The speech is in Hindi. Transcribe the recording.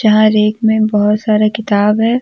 यहां रैक में बहुत सारे किताब है।